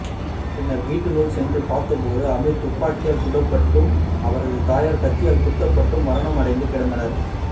பின்னர் வீட்டினுள் சென்று பார்த்தபோது அமீர் துப்பாக்கியால் சுடப்பட்டும் அவரது தாயார் கத்தியால் குத்தப்பட்டும் மரணமடைந்து கிடந்தனர்